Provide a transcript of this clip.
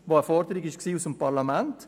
Dazu gab es eine Forderung im Parlament.